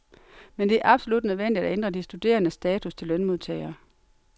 Men det er absolut nødvendigt at ændre de studerendes status til lønmodtagere.